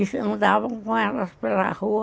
E andavam com elas pela rua.